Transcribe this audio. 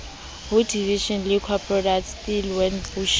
ho division liquor product stellenbosch